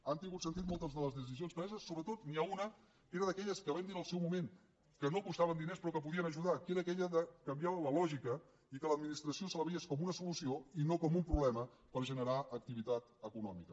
han tingut sentit moltes de les decisions preses sobretot n’hi ha una que era d’aquelles que vam dir en el seu moment que no costaven diners però que podien ajudar que era aquella de canviar la lògica i que a l’administració se la veiés com una solució i no com un problema per generar activitat econòmica